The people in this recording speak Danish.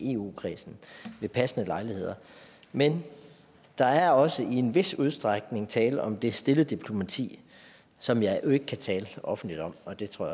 i eu kredsen ved passende lejligheder men der er også i en vis udstrækning tale om det stille diplomati som jeg jo ikke kan tale offentligt om og det tror